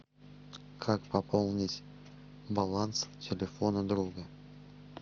как пополнить баланс телефона друга